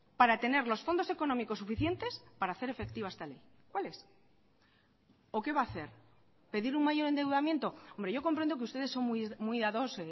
para tener los fondos económicos suficientes para hacer efectiva esta ley cuáles o qué va a hacer pedir un mayor endeudamiento hombre yo comprendo que ustedes son muy dados